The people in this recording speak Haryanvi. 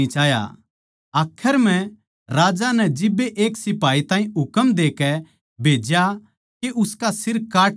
आखर म्ह राजा नै जिब्बे एक सिपाही ताहीं हुकम देकै भेज्या के उसका सिर काट ल्यावै